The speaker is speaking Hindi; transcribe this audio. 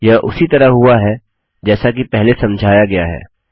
यह उसी तरह हुआ है जैसा कि पहले समझाया गया है